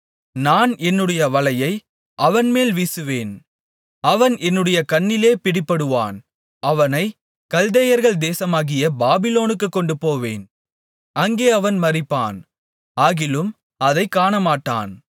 நான் என்னுடைய வலையை அவன்மேல் வீசுவேன் அவன் என்னுடைய கண்ணியிலே பிடிபடுவான் அவனைக் கல்தேயர்கள் தேசமாகிய பாபிலோனுக்குக் கொண்டுபோவேன் அங்கே அவன் மரிப்பான் ஆகிலும் அதைக் காணமாட்டான்